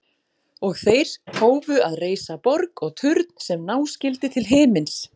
Og þeir hófu að reisa borg og turn sem ná skyldi til himins.